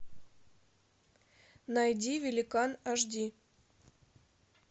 найди великан аш ди